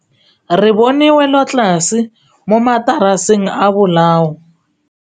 Re bone wêlôtlasê mo mataraseng a bolaô.